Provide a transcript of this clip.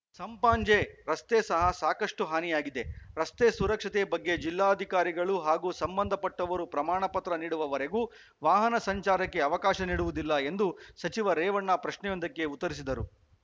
ಸಂಪಾಜೆ ರಸ್ತೆ ಸಹ ಸಾಕಷ್ಟುಹಾನಿಯಾಗಿದೆ ರಸ್ತೆ ಸುರಕ್ಷತೆ ಬಗ್ಗೆ ಜಿಲ್ಲಾಧಿಕಾರಿಗಳು ಹಾಗೂ ಸಂಬಂಧ ಪಟ್ಟವರು ಪ್ರಮಾಣ ಪತ್ರ ನೀಡುವವರೆಗೆ ವಾಹನ ಸಂಚಾರಕ್ಕೆ ಅವಕಾಶ ನೀಡುವುದಿಲ್ಲ ಎಂದು ಸಚಿವ ರೇವಣ್ಣ ಪ್ರಶ್ನೆಯೊಂದಕ್ಕೆ ಉತ್ತರಿಸಿದರು